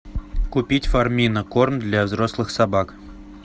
купить фармина корм для взрослых собак